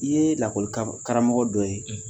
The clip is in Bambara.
I ye lakɔli karamɔgɔ dɔ ye